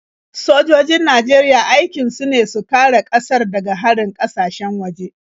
Sojojin Najeriya aikin su ne su kare ƙasar daga harin ƙasashen waje.